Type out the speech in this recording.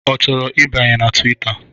Ọ chọrọ ibanye na Twita?